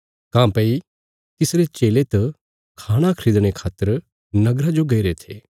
काँह्भई तिसरे चेले तिस वगत नगरा च रोटी ल्यौणे गए थे